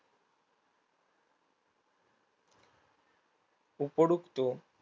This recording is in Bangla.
উপরুক্ত